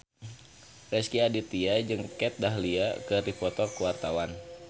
Rezky Aditya jeung Kat Dahlia keur dipoto ku wartawan